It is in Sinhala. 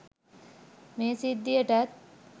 මේ සිද්ධියටත්.